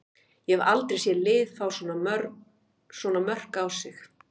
Ég hef aldrei séð lið fá svona mörk á sig.